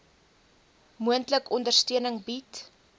moontlik ondersteuning bied